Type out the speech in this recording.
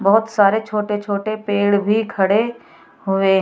बहोत सारे छोटे छोटे पेड़ भी खड़े हुए --